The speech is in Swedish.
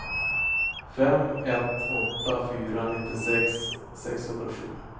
fem ett åtta fyra nittiosex sexhundrasju